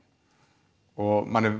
og manni